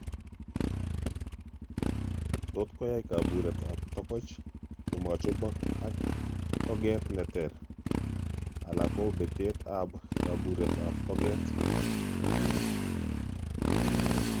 Totkoyai kabureet ab togoch komachobok ak togeet neter ala ko betet ab kaburet ab togeet